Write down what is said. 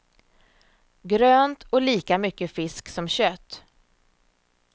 Grönt och lika mycket fisk som kött.